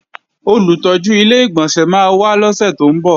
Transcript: Olùtọ́jú Ilé-ìgbọ̀nsẹ̀ máa wá lọ́sè tó ń bọ̀